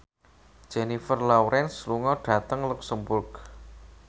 Jennifer Lawrence lunga dhateng luxemburg